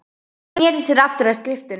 Hann sneri sér aftur að skriftunum.